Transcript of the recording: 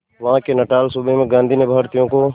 वहां के नटाल सूबे में गांधी ने भारतीयों को